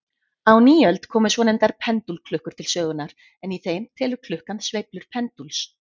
Á nýöld komu svonefndar pendúlklukkur til sögunnar, en í þeim telur klukkan sveiflur pendúls.